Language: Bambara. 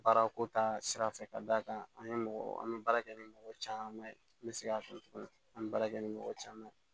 Baarako ta sira fɛ ka d'a kan an ye mɔgɔ an bɛ baara kɛ ni mɔgɔ caman ye n bɛ segin a kan tuguni an bɛ baara kɛ ni mɔgɔ caman ye